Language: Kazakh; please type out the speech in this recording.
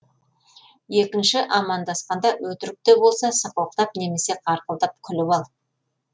екінші амандасқанда өтірік те болса сықылықтап немесе қарқылдап күліп ал